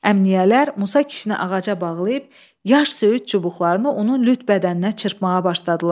Əmniyyələr Musa kişini ağaca bağlayıb yaş söyüd çubuqlarını onun lüt bədəninə çırpmağa başladılar.